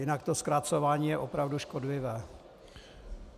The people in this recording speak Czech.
Jinak to zkracování je opravdu škodlivé.